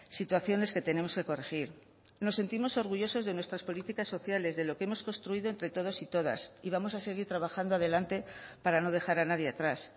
situaciones que tenemos que corregir nos sentimos orgullosos de nuestras políticas sociales de lo que hemos construido entre todos y todas y vamos a seguir trabajando adelante para no dejar a nadie atrás